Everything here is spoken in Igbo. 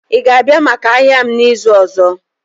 Ị ga-abịa maka ahịa m n'izu ọzọ?